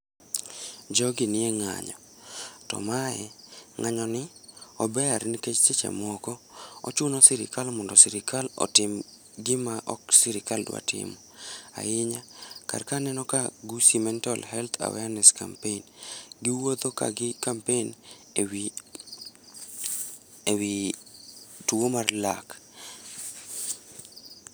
Jogi nie ng'anyo to mae, ng'anyo ni ober nikech seche moko ochuno sirkal mondo sirkal otim gima sirkal ok dwa timo ahinya karka aneno ka Gusii mental health awareness campaign. Giwuotho ka gi kampen ewi, ewi tuo mar lak